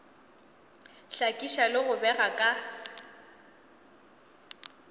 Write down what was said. hlakiša le go bega ka